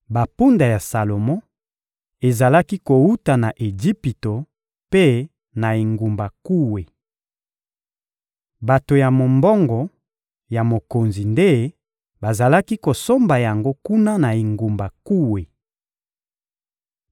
Bampunda ya Salomo ezalaki kowuta na Ejipito mpe na engumba Kue. Bato ya mombongo ya mokonzi nde bazalaki kosomba yango kuna na engumba Kue.